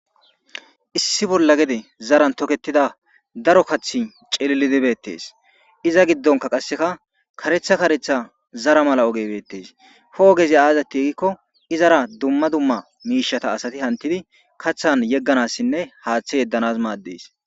issi bolla gede zaran toketida daro kaththi cellidi beettes iza giddonka qasseka karetha karetha zara mala ogebettees hoogezi aazati yegikko izara duma duma miishata asati hantidi kathan yegganassinne haaththe yeddanas maaddeys.